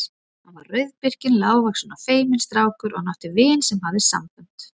Hann var rauðbirkinn, lágvaxinn og feiminn strákur og hann átti vin sem hafði sambönd.